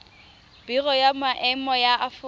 biro ya maemo ya aforika